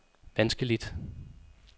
vanskeligt